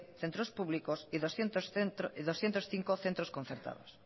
centros públicos y doscientos cinco centros concertados